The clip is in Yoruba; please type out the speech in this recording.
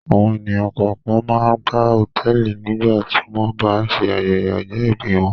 Àwọn ènìyàn kọ̀ọ̀kan máa ń gba hòtẹ́ẹ́lì nígbà tí wọ́n bá ń ṣe ayẹyẹ ọjọ́-ìbí wọn.